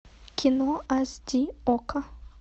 кино аш ди окко